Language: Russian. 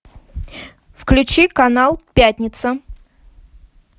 включи канал пятница